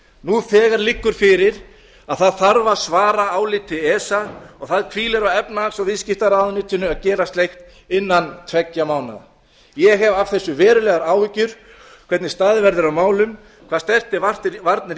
nú þegar liggur fyrir að það þarf að svara áliti esa og það hvílir á efnahags og viðskiptaráðuneytinu að gera slíkt innan tveggja mánaða ég hef af þessu verulegar áhyggjur hvernig staðið verður að málum hvað snertir varnir